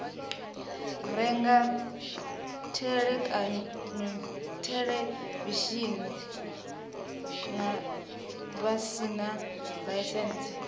renga theḽevishini vha sina ḽaisentsi